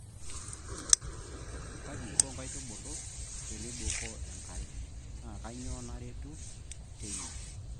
Kaji eiko nkaitubulu teibukoo enkare. naa kainyioo naretu tena.